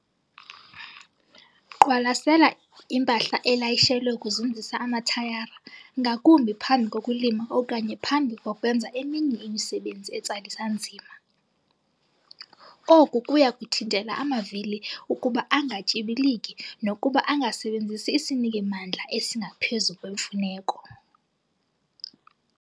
Qwalasela impahla elayishelwe ukuzinzisa amathayara, ngakumbi phambi kokulima okanye phambi kokwenza eminye imisebenzi etsalisa nzima. Oku kuya kuthintela amavili ukuba angatyibiliki nokuba angasebenzisi isiniki-mandla esingaphezu kwemfuneko.